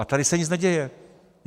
A tady se nic neděje.